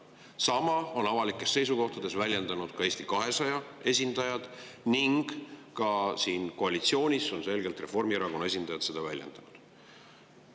Sama on avalikes seisukohtades väljendanud Eesti 200 esindajad ning ka koalitsioonis on selgelt Reformierakonna esindajad seda väljendanud.